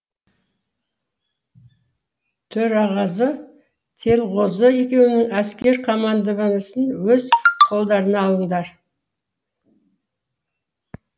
төреғазы телғозы екеуің әскер командованиесін өз қолдарыңа алыңдар